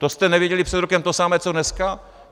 To jste nevěděli před rokem to samé co dneska?